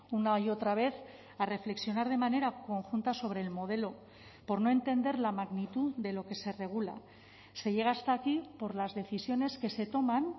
una y otra vez a reflexionar de manera conjunta sobre el modelo por no entender la magnitud de lo que se regula se llega hasta aquí por las decisiones que se toman